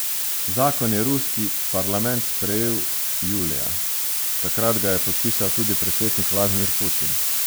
Zakon je ruski parlament sprejel julija, takrat ga je podpisal tudi predsednik Vladimir Putin.